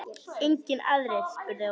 Engir aðrir? spurði Óli.